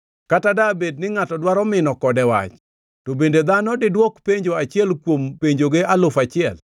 Kata dabed ni ngʼato dwaro mino kode wach, to bende dhano diduok penjo achiel kuom penjoge alufu achiel.